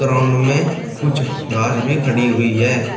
Ground में कुछ घास भी खड़ी हुई है।